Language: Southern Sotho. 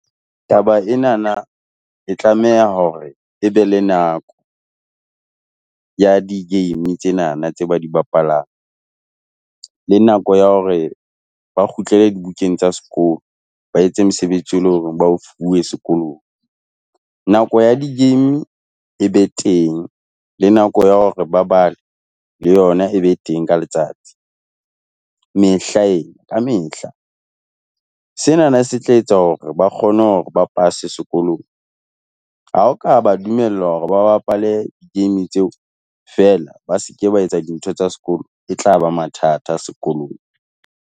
Taba ena na e tlameha hore e be le nako ya di-game tsena na tse ba di bapalang, le nako ya hore ba kgutlele di bukeng tsa sekolo, ba etse mosebetsi e o e leng hore ba o fuwe sekolong. Nako ya di-game e be teng, le nako ya hore ba bale, le yona e be teng ka letsatsi. Mehla ena, ka mehla, sena na se tla etsa hore ba kgone hore ba pase sekolong. Ha o ka ba dumella hore ba bapale di-game tseo fela, ba se ke ba etsa dintho tsa sekolo, e tlaba mathata sekolong.